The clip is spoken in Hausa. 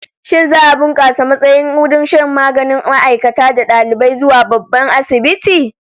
Shin za'a bunkasa matsayin wurin shan maganin ma'aikata da dalibai zuwa babban asibiti?